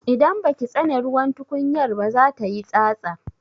Idan baki tsane ruwan tukunyar ba za tayi tsatsa.